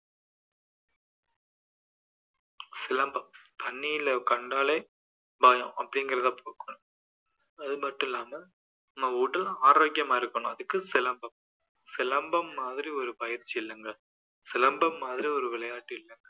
சிலம்பம் அந்நியர்களை கண்டாலே பயம் அப்படீங்கிறதை போக்கணும் அது மட்டும் இல்லாம நம்ம உடல் ஆரோக்கியமா இருக்கணும் அதுக்கு சிலம்பம். சிலம்பம் மாதிரி ஒரு பயிற்சி இல்லைங்க சிலம்பம் மாதிரி ஒரு விளையாட்டு இல்லைங்க